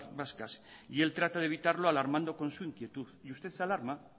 vascas y él trata de evitarlo alarmando con su inquietud y usted se alarma